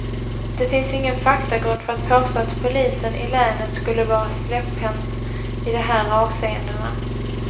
Det finns ingen faktagrund för att påstå att polisen i länet skulle vara släpphänt i de här avseendena.